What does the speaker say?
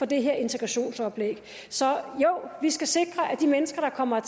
det her integrationsoplæg så jo vi skal sikre at de mennesker der kommer